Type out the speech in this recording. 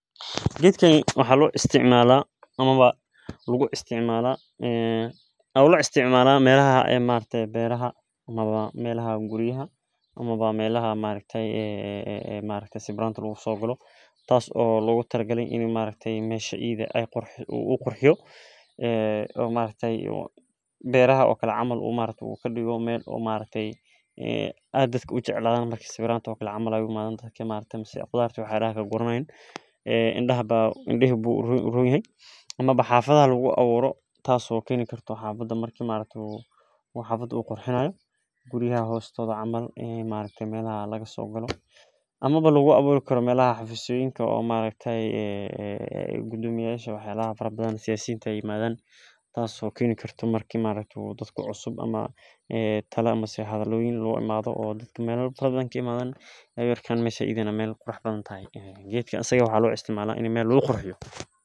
Gedkani waxaa lo isticmala ama lagu isticmala melaha guriyada amawa bera ama melaha sawiranta lagu sogalo beeraha camal u kadigo meel dadka jacel tas oo kadigeso in u xafada qurxiyo tas oo kenoso marki dad ee imadan geeedka isaga eh maxaa logu tala gale in meel lagu qurxiyo sas aya logu talagale bahasahn wax badan ayey ka cawineysa sas ayan u arka aniga.